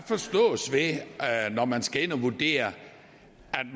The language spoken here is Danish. der det når man skal ind og vurdere